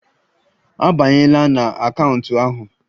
Abanyela na akaụntụ ahụ.